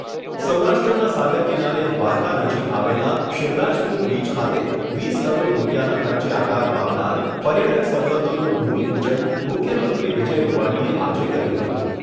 સૌરાષ્ટ્રના સાગર કિનારે દ્વારકા નજીક આવેલા શિવરાજપૂર બીચ ખાતે વીસ કરોડ રૂપિયાના ખર્ચે આકાર પામનાર પર્યટક સવલતોનું ભૂમિપૂજન મુખ્યમંત્રી વિજય રૂપાણીએ આજે કર્યું હતું.